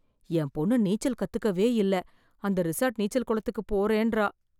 என் பொண்ணு நீச்சல் கத்துக்குவே இல்ல அந்த ரிசார்ட் நீச்சல் குளத்துக்குப் போறேன்றா